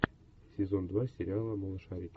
сезон два сериала малышарики